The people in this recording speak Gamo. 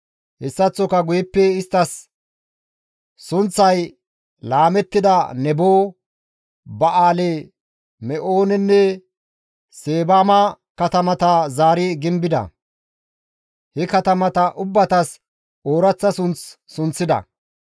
Hessaththoka guyeppe isttas sunththay laamettida Nebo, Ba7aali-Me7oonenne Seebama katamata zaari gimbida; he katamata ubbatas ooraththa sunth sunththida.